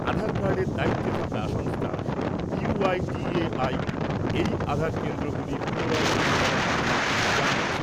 আধার কার্ডের দ্বায়িত্বে থাকা সংস্থা ইউআইডিএআই এই আধার কেন্দ্রগুলি পুনরায় চালু হওয়ার কথা জানিয়েছে।